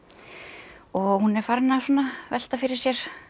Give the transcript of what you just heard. og hún er farin að velta fyrir sér